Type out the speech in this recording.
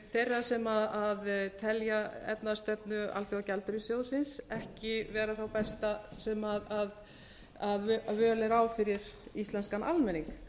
þeirra sem telja efnahagsstefnu alþjóðagjaldeyrissjóðsins ekki vera þá besta sem völ er á fyrir íslenskan almenning